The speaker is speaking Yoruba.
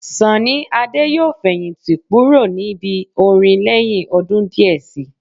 Sọ̀nní Adé yóò fẹ̀yìntì púrò níbi orin lẹhin ọdun diẹ Si